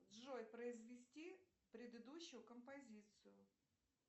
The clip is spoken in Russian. джой произвести предыдущую композицию